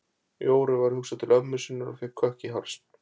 Jóru var hugsað til ömmu sinnar og fékk kökk í hálsinn.